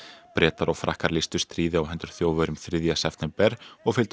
Bretar og Frakkar lýstu stríði á hendur Þjóðverjum þriðja september og fylgdu